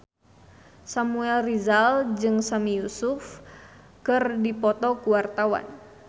Samuel Rizal jeung Sami Yusuf keur dipoto ku wartawan